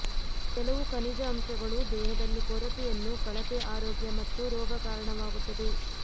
ಕೆಲವು ಖನಿಜ ಅಂಶಗಳು ದೇಹದಲ್ಲಿ ಕೊರತೆಯನ್ನು ಕಳಪೆ ಆರೋಗ್ಯ ಮತ್ತು ರೋಗ ಕಾರಣವಾಗುತ್ತದೆ